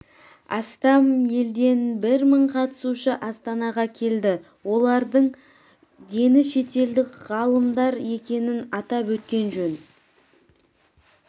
астам елден бір мың қатысушы астанаға келді олардың дені шетелдік ғалымдар екенін атап өткен жөн